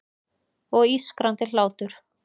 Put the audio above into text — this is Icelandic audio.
Og ískrandi hlátur.